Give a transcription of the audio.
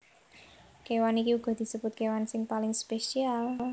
Kéwan iki uga disebut kéwan sing paling spesial